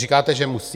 Říkáte, že musí?